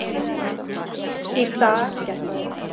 Í dag gekk það upp.